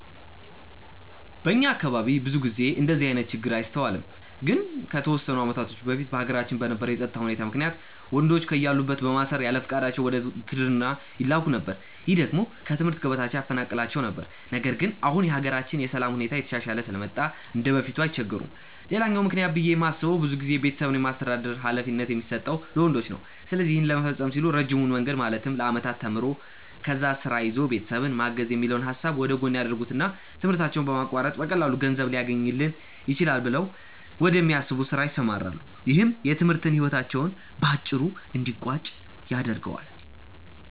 በእኛ አካባቢ ብዙ ጊዜ እንደዚህ አይነት ችግር አይስተዋልም። ግን ከተወሰኑ አመታቶች በፊት በሀገራችን በነበረው የፀጥታ ሁኔታ ምክንያት ወንዶችን ከያሉበት በማሰር ያለፍቃዳቸው ወደ ውትድርና ይላኩ ነበር። ይህ ደግሞ ከትምህርት ገበታቸው ያፈናቅላቸው ነበር። ነገር ግን አሁን የሀገራችን የሰላም ሁኔታ እየተሻሻለ ስለመጣ እንደበፊቱ አይቸገሩም። ሌላኛው ምክንያት ብዬ የማስበው ብዙ ጊዜ ቤተሰብን የማስተዳደር ሀላፊነት የሚሰጠው ለወንዶች ነው። ስለዚህ ይህን ለመፈፀም ሲሉ ረጅሙን መንገድ ማለትም ለአመታት ተምሮ፣ ከዛ ስራ ይዞ ቤተሰብን ማገዝ የሚለውን ሀሳብ ወደጎን ያደርጉትና ትምህርታቸውን በማቋረጥ በቀላሉ ገንዘብ ሊያስገኝልኝ ይችላል ብለው ወደሚያስቡት ስራ ይሰማራሉ። ይህም የትምህርት ህይወታቸው በአጭሩ እንዲቀጭ ያደርገዋል።